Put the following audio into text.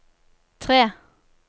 tre